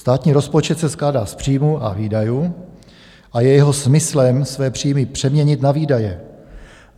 Státní rozpočet se skládá z příjmů a výdajů a je jeho smyslem své příjmy přeměnit na výdaje.